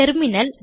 terminal